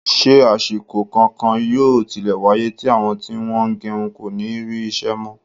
Ṣé àsìkò kankan yóò tilẹ̀ wáyé tí àwọn tí wọ́n ń gẹrun kò ní rí iṣẹ́ mọ́?